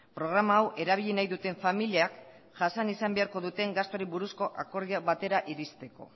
programa hau erabili nahi duten familiak jasan izan beharko duten gastuari buruzko akordio batera iristeko